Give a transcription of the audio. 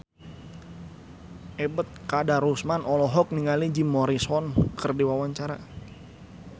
Ebet Kadarusman olohok ningali Jim Morrison keur diwawancara